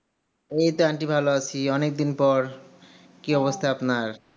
এইতো aunty ভালো আছি অনেকদিন পর কি অবস্থা আপনার?